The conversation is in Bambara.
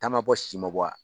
Ta ma bɔ, sisi ma bɔ wa ?